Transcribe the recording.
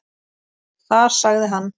Þar sagði hann